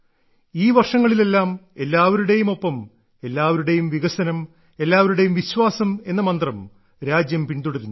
ഈ വർഷങ്ങളിലെല്ലാം എല്ലാവരുടേയും ഒപ്പം എല്ലാവരുടെയും വികസനം എല്ലാവരുടെയും വിശ്വാസം എന്ന മന്ത്രം രാജ്യം പിന്തുടരുന്നു